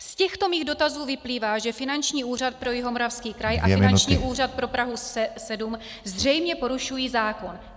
Z těchto mých dotazů vyplývá, že Finanční úřad pro Jihomoravský kraj a Finanční úřad pro Prahu 7 zřejmě porušují zákon.